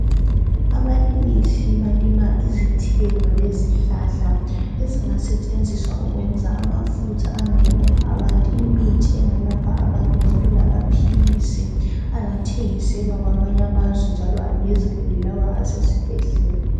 Abalimisi balima izithelo lezihlala ezingasetshenziswa ukwenza amafutha angelapha abantu imithi engelapha abantu njalo lamaphilisi angathengiselwa kwamanye amazwe njalo angezelele l awa esesibhedlela.